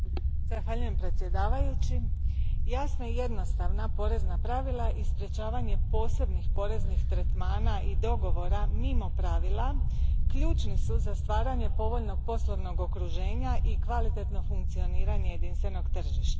Gospodine predsjedniče, jasna i jednostavna porezna pravila i sprečavanje posebnih poreznih tretmana i dogovora mimo pravila ključni su za stvaranje povoljnog poslovnog okruženja i kvalitetnog funkcioniranja jedinstvenog tržišta.